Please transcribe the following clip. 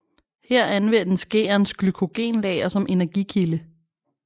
Her anvendes gærens glykogenlager som energikilde